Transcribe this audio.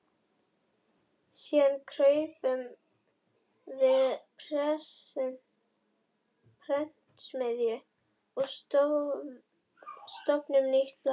Síðan kaupum við prentsmiðju og stofnum nýtt blað.